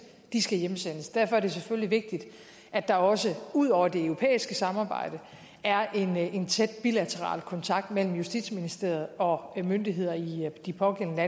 skal hjemsendes derfor er det selvfølgelig vigtigt at der også ud over det europæiske samarbejde er en tæt bilateral kontakt mellem justitsministeriet og myndighederne i de pågældende